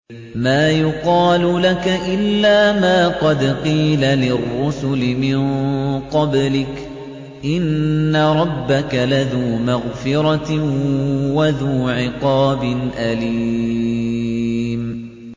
مَّا يُقَالُ لَكَ إِلَّا مَا قَدْ قِيلَ لِلرُّسُلِ مِن قَبْلِكَ ۚ إِنَّ رَبَّكَ لَذُو مَغْفِرَةٍ وَذُو عِقَابٍ أَلِيمٍ